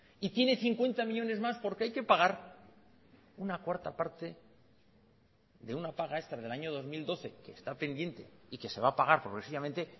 y tiene cincuenta millónes más porque hay que pagar una cuarta parte de una paga extra del año dos mil doce que está pendiente y que se va a pagar progresivamente